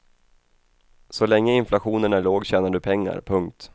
Så länge inflationen är låg tjänar du pengar. punkt